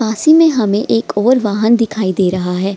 पास ही में हमे एक ओर वाहन दिखाई दे रहा है।